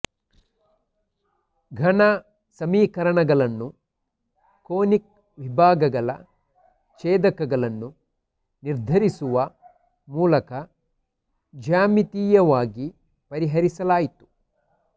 ಘನ ಸಮೀಕರಣಗಳನ್ನು ಕೋನಿಕ್ ವಿಭಾಗಗಳ ಛೇದಕಗಳನ್ನು ನಿರ್ಧರಿಸುವ ಮೂಲಕ ಜ್ಯಾಮಿತೀಯವಾಗಿ ಪರಿಹರಿಸಲಾಯಿತು